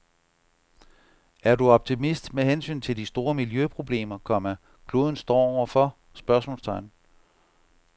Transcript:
Er du optimist med hensyn til de store miljøproblemer, komma kloden står over for? spørgsmålstegn